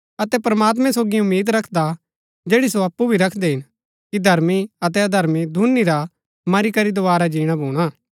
अतै प्रमात्मैं सोगी उम्मीद रखदा जैड़ी सो अप्पु भी रखदै हिन कि धर्मी अतै अधर्मी दूनी रा मरी करी दोवारा जीणा भूणा